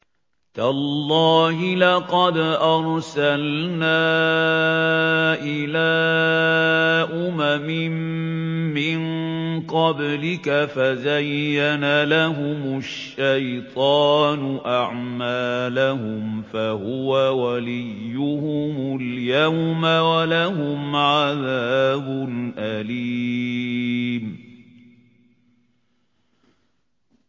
تَاللَّهِ لَقَدْ أَرْسَلْنَا إِلَىٰ أُمَمٍ مِّن قَبْلِكَ فَزَيَّنَ لَهُمُ الشَّيْطَانُ أَعْمَالَهُمْ فَهُوَ وَلِيُّهُمُ الْيَوْمَ وَلَهُمْ عَذَابٌ أَلِيمٌ